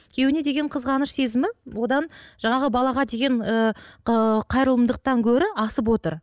күйеуіне деген қызғаныш сезімі одан жаңағы балаға деген ы қайырымдылықтан гөрі асып отыр